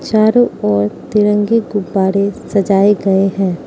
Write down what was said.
चारों ओर तिरंगे गुब्बारे सजाए गए हैं।